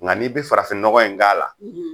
Nka n'i bɛ farafinnɔgɔ in k'a la.